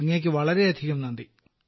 അങ്ങേക്ക് വളരെ വളരെയധികം നന്ദി